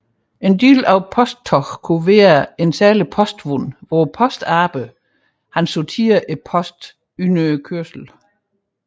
En del af posttoget kunne være særlige postvogne hvor postarbejdere sorterede posten under kørslen